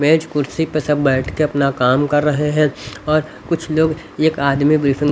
मेज कुर्सी पर सब बैठ के अपना काम कर रहे हैं और कुछ लोग एक आदमी ब्रीफिंग --